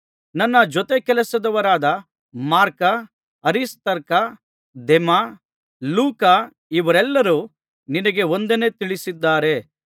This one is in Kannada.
ನನ್ನ ಜೊತೆಗೆಲಸದವರಾದ ಮಾರ್ಕ ಅರಿಸ್ತಾರ್ಕ ದೇಮ ಲೂಕ ಇವರೆಲ್ಲರೂ ನಿನಗೆ ವಂದನೆ ತಿಳಿಸಿದ್ದಾರೆ